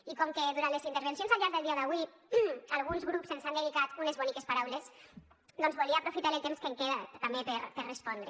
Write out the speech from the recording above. i com que durant les intervencions al llarg del dia d’avui alguns grups ens han dedicat unes boniques paraules doncs volia aprofitar el temps que em queda també per respondre